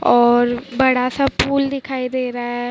और बड़ा सा फूल दिखाई दे रहा है।